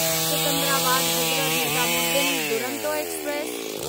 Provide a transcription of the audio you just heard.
Secunderabad Hazrat Nizamuddin Duronto express